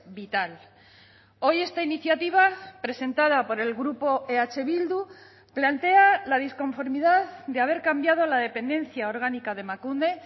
vital hoy esta iniciativa presentada por el grupo eh bildu plantea la disconformidad de haber cambiado la dependencia orgánica de emakunde